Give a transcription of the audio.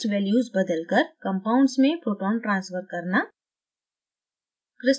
ph values बदलकर compounds में proton transfer करना